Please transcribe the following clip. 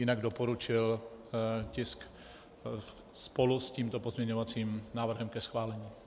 Jinak doporučil tisk spolu s tímto pozměňovacím návrhem ke schválení.